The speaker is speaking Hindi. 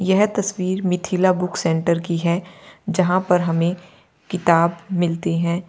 यह तस्वीर मिथिला बुक सेंटर की है जहां पर हमें किताब मिलती हैं।